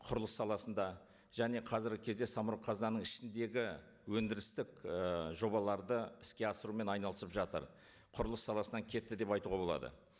құрылыс саласында және қазіргі кезде самұрық қазынаның ішіндегі өндірістік і жобаларды іске асырумен айналысып жатыр құрылыс саласынан кетті деп айтуға болады